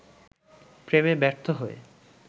প্রেমে ব্যর্থ হয়ে